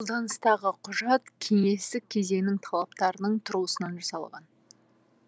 қолданыстағы құжат кеңестік кезеңнің талаптарының тұрғысынан жасалған